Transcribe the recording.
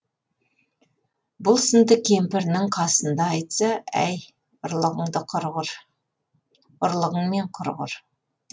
бұл сырды кемпірінің қасында айтса әй ұрлығыңмен құрығыр